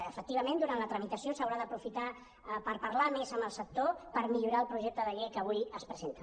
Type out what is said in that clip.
efectivament durant la tramitació s’haurà d’aprofitar per parlar més amb el sector per millorar el projecte de llei que avui es presenta